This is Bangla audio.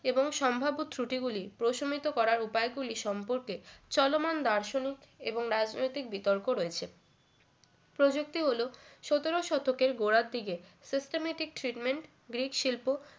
এবং সম্ভাব্য ত্রুটিগুলি প্রশমিত করার উপায় গুলি সম্পর্কে চলমান দার্শনিক এবং রাজনৈতিক বিতর্ক রয়েছে প্রযুক্তি হলো সতেরো শতকের গোড়ার দিকে systematic treatment গ্রিক শিল্প